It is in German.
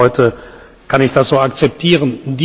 Für heute kann ich das so akzeptieren.